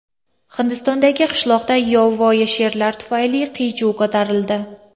Hindistondagi qishloqda yovvoyi sherlar tufayli qiy-chuv ko‘tarildi.